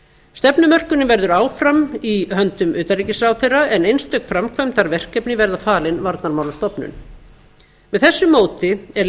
stefnumörkunin verður áfram í höndum utanríkisráðherra en einstök framkvæmdarverkefni verða falin varnarmálastofnun með þessu móti er